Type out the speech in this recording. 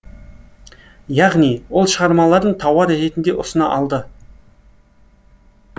яғни ол шығармаларын тауар ретінде ұсына алды